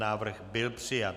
Návrh byl přijat.